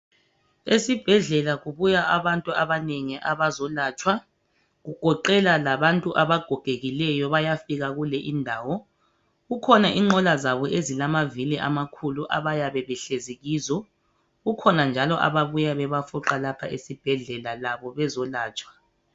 Esibhedlela kubuya abantu abanengi abazolatshwa kugoqela labantu abagogekileyo bayafika kule indawo kukhona inqola zabo ezilamavili amakhulu abayabe behlezi kizo kukhona njalo ababuya bebafuqa lapha esibhedlela labo bezolatshwa.